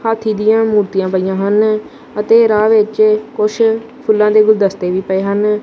ਹਾਥੀ ਦੀਆਂ ਮੂਰਤੀਆਂ ਪਈਆਂ ਹਨ ਅਤੇ ਰਾਹ ਵਿੱਚ ਕੁਛ ਫੁੱਲਾਂ ਦੇ ਗੁਲਦਸਤੇ ਵੀ ਪਏ ਹਨ।